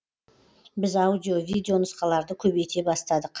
біз аудио видео нұсқаларды көбейте бастадық